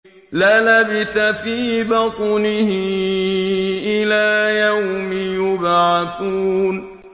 لَلَبِثَ فِي بَطْنِهِ إِلَىٰ يَوْمِ يُبْعَثُونَ